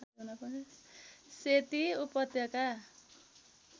सेती उपत्यका